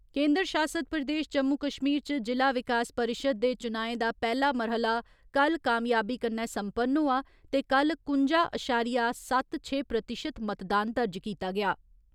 केन्द्र शासित प्रदेश जम्मू कश्मीर च जि'ला विकास परिशद दे चुनाएं दा पैहला मरह्‌ला कल्ल कामयाबी कन्नै सम्पन्न होआ ते कुल कुंजा अशारिया सत्त छे प्रतिशत मतदान दर्ज कीता गेआ।